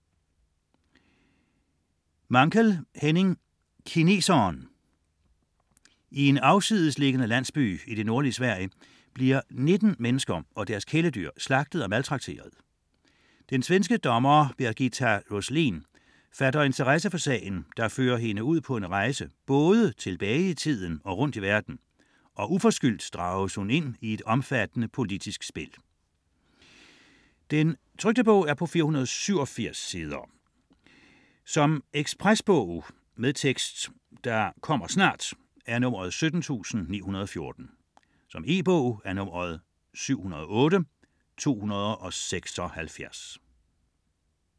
Mankell, Henning: Kineseren I en afsidesliggende landsby i det nordlige Sverige bliver 19 mennesker og deres kæledyr slagtet og maltrakteret. Den svenske dommer Birgitta Roslin fatter interesse for sagen der fører hende ud på en rejse både tilbage i tiden og rundt i verden, og uforskyldt drages hun ind i et omfattende politisk spil. 2008, 487 sider. Lydbog med tekst 17914 E-bog 708276 Ekspresbog - kommer snart